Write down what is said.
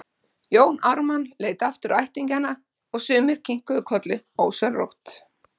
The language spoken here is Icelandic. Jón Ármann leit aftur á ættingjana og sumir kinkuðu kolli ósjálfrátt.